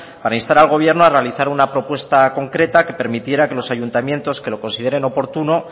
para instar al gobierno a realizar una propuesta concreta que permitiera que los ayuntamientos que lo consideren oportuno